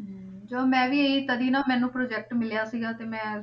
ਹਮ ਚਲੋ ਮੈਂ ਇਹੀ ਤਦੇ ਨਾ ਮੈਨੂੰ project ਮਿਲਿਆ ਸੀਗਾ ਤੇ ਮੈਂ,